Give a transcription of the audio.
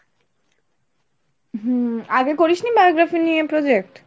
হুম আগে করিস নি biography নিয়ে project?